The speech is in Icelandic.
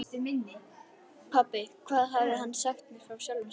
Pabbi, hvað hafði hann sagt mér frá sjálfum sér?